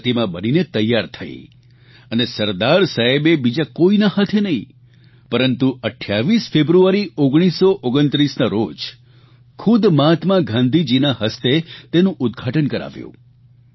અંતે પ્રતિમા બનીને તૈયાર થઇ અને સરદાર સાહેબે બીજા કોઇના હાથે નહિં પરંતુ 28 ફેબ્રુઆરી 1929ના રોજ ખૂદ મહાત્મા ગાંધીના હસ્તે તેનું ઉદઘાટન કરાવ્યું